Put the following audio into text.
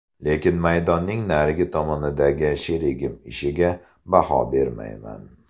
Lekin maydonning narigi tomonidagi sherigim ishiga baho bermayman.